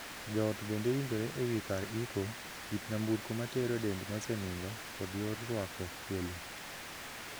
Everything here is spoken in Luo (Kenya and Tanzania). Joot bende winjore e wii kar iko, kit nyamburko matero dend mosenindo, kod yor ruako welo.